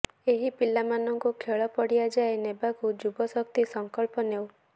ଏହି ପିଲା ମାନଙ୍କୁ ଖେଳ ପଡିଆଯାଏ ନେବାକୁ ଯୁବ ଶକ୍ତି ସଂକଳ୍ପ ନେଉ